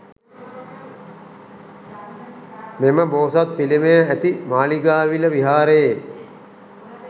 මෙම බෝසත් පිළිමය ඇති මාලිගාවිල විහාරයේ